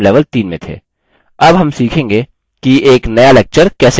हम अब सीखेंगे कि एक नया lecture कैसे बनाएँ